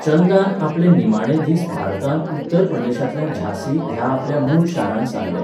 चंदान आपले निमाणे दीस भारतांत उत्तर प्रदेशांतल्या झांसी ह्या आपल्या मूळ शारांत सारले.